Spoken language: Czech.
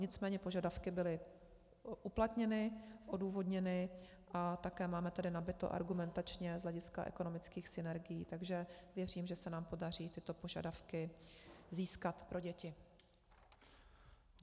Nicméně požadavky byly uplatněny, odůvodněny a také máme tady nabito argumentačně z hlediska ekonomických synergií, takže věřím, že se nám podaří tyto požadavky získat pro děti.